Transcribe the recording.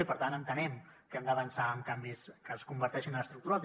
i per tant entenem que hem d’avançar amb canvis que es converteixin en estructurals